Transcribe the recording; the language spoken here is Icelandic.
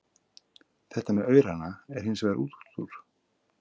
Þetta með aurana er hins vegar útúrdúr.